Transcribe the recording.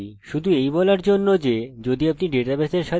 আমরা প্রচুর ব্যর্থ বস্তু পৃষ্ঠাতে পাবো